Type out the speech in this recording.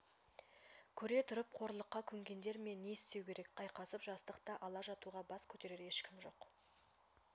көре тұрып қорлыққа көнгендер ме не істеу керек айқасып жастықты ала жатуға бас көтерер ешкім жоқ